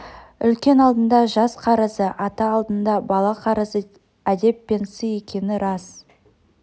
үлкен алдында жас қарызы ата алдында бала қарызы әдеп пен сый екені рас